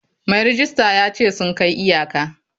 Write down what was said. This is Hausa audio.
Mai rejista ya ce sun kai iyaka.